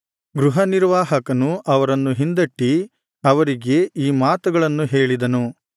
ಗೃಹನಿರ್ವಾಹಕನು ಅವರನ್ನು ಹಿಂದಟ್ಟಿ ಅವರಿಗೆ ಈ ಮಾತುಗಳನ್ನು ಹೇಳಿದನು